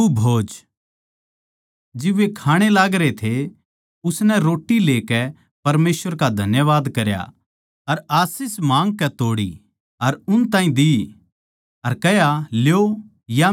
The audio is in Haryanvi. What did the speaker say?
जिब वे खाण ए लागरे थे उसनै रोट्टी लेकै परमेसवर का धन्यवाद करया अर आशीष माँगकै तोड़ी अर उन ताहीं दी अर कह्या ल्यो या मेरी देह सै